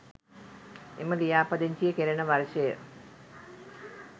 එම ලියාපදිංචිය කෙරෙන වර්ෂය